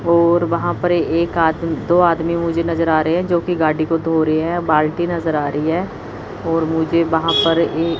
और वहां पर एक आदमी दो आदमी मुझे नजर आ रहे हैं जो की गाड़ी को धो रही है बाल्टी नजर आ रही है और मुझे वहां पर एक--